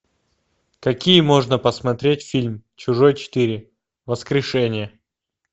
какие можно посмотреть фильм чужой четыре воскрешение